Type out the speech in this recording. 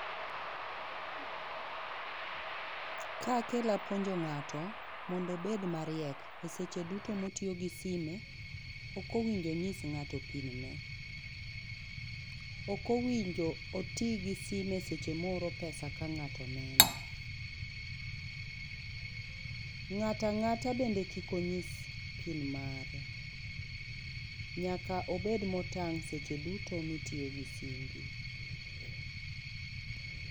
Ka kela e puonjo ngato mondo obed mariek e seche duto ma o tiyo gi simu ok owinjo ongis ngato pin mare ok owinjo oti gi simu seche ma ooro pesa ka ngato neno ngata ngata bende kik ongis pin mare nyaka obed motang seche duto mi otiyo gi simu.